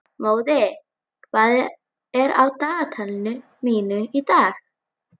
Móði, hvað er á dagatalinu mínu í dag?